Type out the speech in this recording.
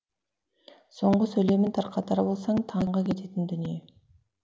соңғы сөйлемін тарқатар болсаң таңға кететін дүние